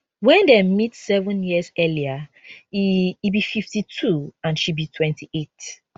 wen dem meet seven years earlier e e be 52 and she be 28